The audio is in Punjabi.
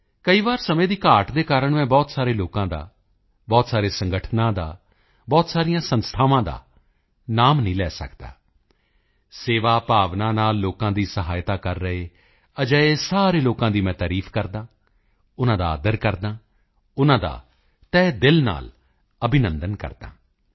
ਕਈ ਵਾਰ ਸਮੇਂ ਦੀ ਕਮੀ ਦੇ ਚਲਦੇ ਮੈਂ ਬਹੁਤ ਸਾਰੇ ਲੋਕਾਂ ਦਾ ਬਹੁਤ ਸਾਰੇ ਸੰਗਠਨਾਂ ਦਾ ਬਹੁਤ ਸਾਰੀਆਂ ਸੰਸਥਾਵਾਂ ਦਾ ਨਾਮ ਨਹੀਂ ਲੈ ਸਕਦਾ ਸੇਵਾ ਭਾਵਨਾ ਨਾਲ ਲੋਕਾਂ ਦੀ ਮਦਦ ਕਰ ਰਹੇ ਅਜਿਹੇ ਸਾਰੇ ਲੋਕਾਂ ਦੀ ਮੈਂ ਪ੍ਰਸ਼ੰਸਾ ਕਰਦਾ ਹਾਂ ਉਨ੍ਹਾਂ ਦਾ ਆਦਰ ਕਰਦਾ ਹਾਂ ਉਨ੍ਹਾਂ ਦਾ ਤਹਿ ਦਿਲ ਨਾਲ ਅਭਿਨੰਦਨ ਕਰਦਾ ਹਾਂ